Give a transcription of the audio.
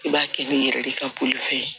I b'a kɛ ni yɛrɛ de ka puwafe ye